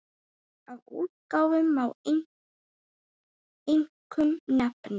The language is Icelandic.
Af útgáfum má einkum nefna